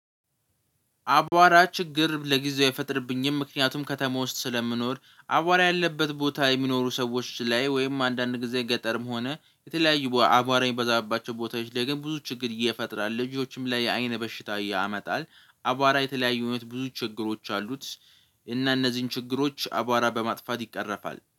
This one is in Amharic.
አቧራ ችግር ለጊዜው አይፈጠርብኝም ምክንያቱም ከተማ ውስጥ ስለምኖር አቧራ ያለበት ቦታ የሚኖሩ ሰዎች ላይ ወይም አንዳንድ ጊዜ ገጠርም ሆነ የተለያዩ አቧራ የበዛባቸው ቦታዎች ላይ ግን ብዙ ችግር እየፈጠራል ልጆችም ላይ የአይነ በሽታ ያመጣል። አቧራ የተለያዩ አይነት ብዙ ችግሮች አሉት። እና እነዚህን ችግሮች አቧራ በማጥፋት ይቀርፋል